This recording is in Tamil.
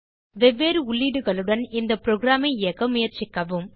வெவ்வேறு உள்ளீடுகளுடன் இந்த புரோகிராம் ஐ இயக்க முயற்சிக்கவும்